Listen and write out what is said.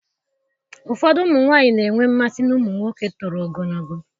Ụfọdụ ụmụ nwanyị na-enwe mmasị na ụmụ nwoke toro ogologo